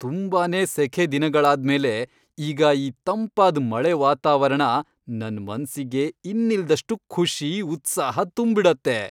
ತುಂಬಾನೇ ಸೆಖೆ ದಿನಗಳಾದ್ಮೇಲೆ ಈಗ ಈ ತಂಪಾದ್ ಮಳೆ ವಾತಾವರಣ ನನ್ ಮನ್ಸಿಗೆ ಇನ್ನಿಲ್ದಷ್ಟು ಖುಷಿ, ಉತ್ಸಾಹ ತುಂಬ್ಬಿಡತ್ತೆ.